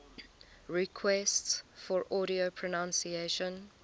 requests for audio pronunciation